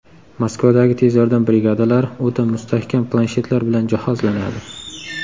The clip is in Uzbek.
Moskvadagi tez yordam brigadalari o‘ta mustahkam planshetlar bilan jihozlanadi.